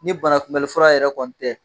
Ni banakunbɛli fura yɛrɛ kɔni tɛ